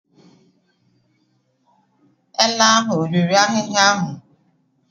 Ele ahụ ọ riri ahịhịa ahụ?